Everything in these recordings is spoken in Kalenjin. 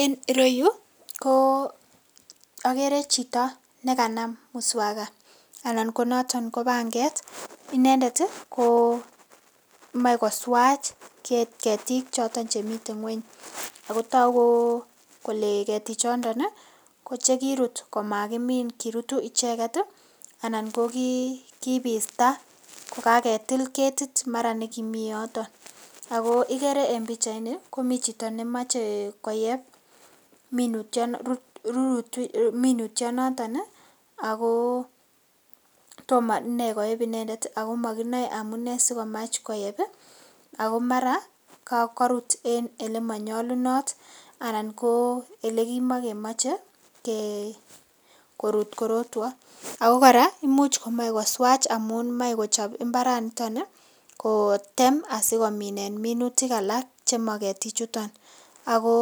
Enn ireyu ko agere chito ne kanam muswaga anan ko noton ko panget inendet komoe koswach ketik choto chemiten ng'weny ago togu kole ketichondon ko chekirutkomakimin, kirutu icheget anan ko kiibista ko kagetil ketiti mara nekimi yoto. Ago igere en pichaini komi chito nemoche koyeb minutyonoto ago tom inee koyeb inendet, ago mokinoe amune sikomach koyeb ago mara korut en ole monyolunot anan ko ele kimokemoche korut korotwo, ago kora imuch komoe koswach amun moe kochob mbaranitoni kotem asikominen minutik alak chemo ketichuton ago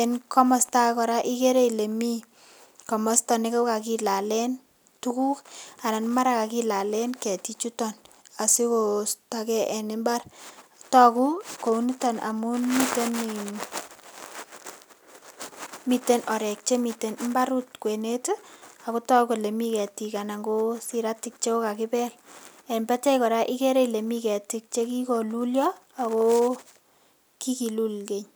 en komosta age kora ikere ile mi komosta ne kogokilalen tuguk anan ko mara kagilalen ketik chuton asikosto ke en mbar, togu kounito amun miten orek chemiten mbaret kwenet ago togu kole mi ketik anan ko siratik che kogakibel en batai kora ikere ile mi ketik che kigolulyo ago kigilul keny.